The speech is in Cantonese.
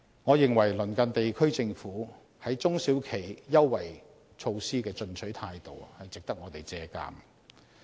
我認為鄰近地區政府，在中小企優惠措施的進取態度值得我們借鑒。